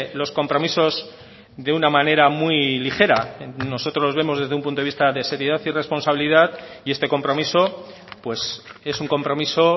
los compromisos de una manera muy ligera nosotros vemos desde un punto de vista de seriedad y responsabilidad y este compromiso pues es un compromiso